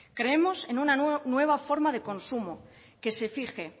creemos en una nueva forma de consumo que se fije